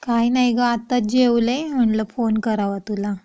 काही नाही ग आताच जेवले म्हण्टलं फोन करावा तुला.